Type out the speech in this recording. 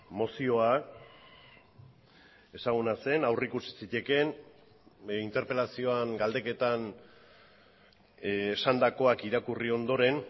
mozioa ezaguna zen aurrikusi zitekeen interpelazioan galdeketan esandakoak irakurri ondoren